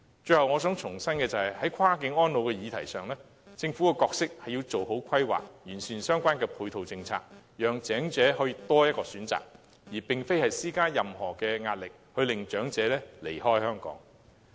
最後，我想重申，在跨境安老的議題上，政府的角色是要做好規劃，完善相關的配套政策，讓長者可以有多一個選擇，而非施加任何壓力，令長者離開香港。